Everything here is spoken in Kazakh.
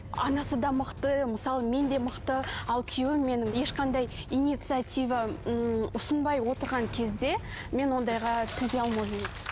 анасы да мықты мысалы мен де мықты ал күйеуім менің ешқандай инициатива ыыы ұсынбай отырған кезде мен ондайға төзе алмаймын